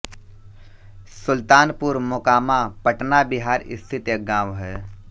सुल्तानपुर मोकामा पटना बिहार स्थित एक गाँव है